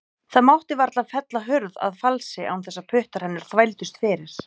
Það mátti varla fella hurð að falsi án þess að puttar hennar þvældust fyrir.